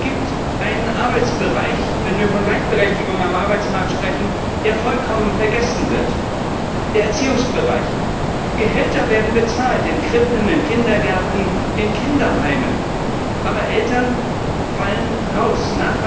Es gibt einen Arbeitsbereich, wenn wir von Gleichberechtigung am Arbeitsmarkt sprechen, der vollkommen vergessen wird der Erziehungsbereich. Gehälter werden bezahlt in Krippen, in Kindergärten, in Kinderheimen. Aber Eltern fallen heraus.